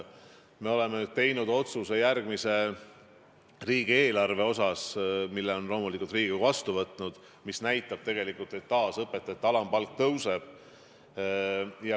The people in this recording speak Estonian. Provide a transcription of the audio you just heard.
Me oleme teinud otsuse järgmise riigieelarve kohta, mille Riigikogu on loomulikult vastu võtnud: taas õpetaja alampalk tõuseb.